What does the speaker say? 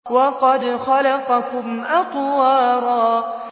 وَقَدْ خَلَقَكُمْ أَطْوَارًا